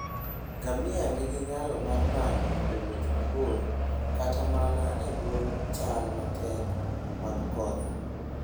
Ngamia nigi nyalo mar nano e wuoth mabor kata mana e bwo chal matek mag koth.